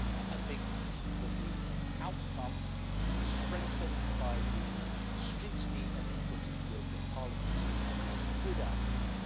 I think that the outcome, strengthened by the scrutiny and input at the European Parliament, is a good outcome.